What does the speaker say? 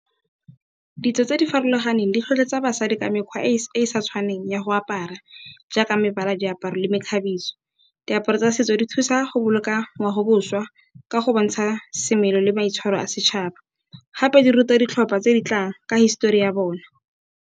Ditso tse di farologaneng di tlhotlheletsa basadi ka mekgwa e sa tshwaneng ya go apara jaaka mebala, diaparo le mekgabiso. Diaparo tsa setso di thusa go boloka ngwaoboswa ka go bontsha semelo le maitshwaro a setšhaba gape di ruta ditlhopha tse di tlang ka histori ya bona.